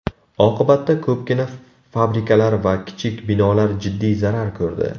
Oqibatda, ko‘pgina fabrikalar va kichik binolar jiddiy zarar ko‘rdi.